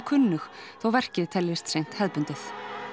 kunnug þó verkið teljist seint hefðbundið